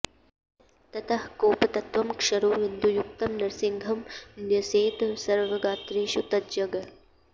ततः कोपतत्त्वं क्षरौ विन्दुयुक्तं नृसिंहं न्यसेत् सर्वगात्रेषु तज्ज्ञः